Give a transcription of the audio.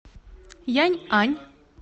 яньань